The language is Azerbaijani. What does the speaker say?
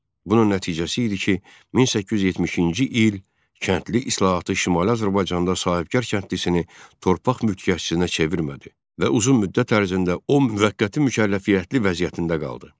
Bunun nəticəsi idi ki, 1870-ci il kəndli islahatı Şimali Azərbaycanda sahibkar kəndlisini torpaq mülkiyyətçisinə çevirmədi və uzun müddət ərzində o müvəqqəti mükəlləfiyyətli vəziyyətində qaldı.